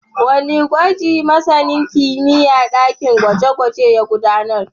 Wane gwaji masanin kimiyyar dakin gwaje-gwaje ya gudanar?